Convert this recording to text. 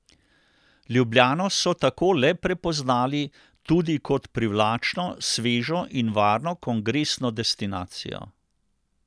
Ljubljano so tako le prepoznali tudi kot privlačno, svežo in varno kongresno destinacijo.